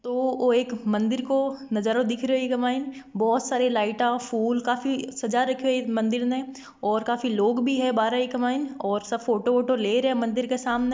यो एक मंदिर का नजारा दिख रहा है बहुत सारी फूल लाइट काफी सज्जा राखो इ मंदिर ने है और काफी लोग भी है बाहर लोग सब फोटो बोटो ले रहे है मंदिर के सामने--